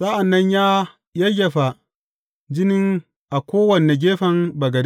Sa’an nan ya yayyafa jinin a kowane gefen bagade.